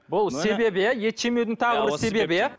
бұл себебі иә ет жемеудің тағы бір себебі иә